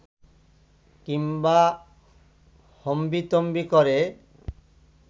কিংবা হম্বিতম্বি করে